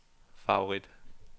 favorit